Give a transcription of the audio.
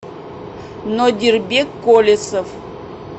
нодирбек колесов